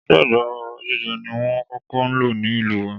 Ìṣèjọba oba jíjẹ ni wón kókó ń lò ní ìlú wa.